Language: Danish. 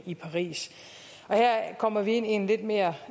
i paris her kommer vi ind i en lidt mere